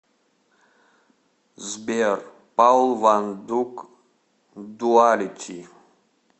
сбер паул ван дук дуалити